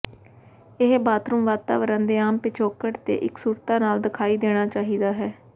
ਇਹ ਬਾਥਰੂਮ ਵਾਤਾਵਰਣ ਦੇ ਆਮ ਪਿਛੋਕੜ ਤੇ ਇਕਸੁਰਤਾ ਨਾਲ ਦਿਖਾਈ ਦੇਣਾ ਚਾਹੀਦਾ ਹੈ